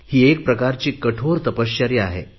ही एक प्रकारची कठोर तपश्चर्या आहे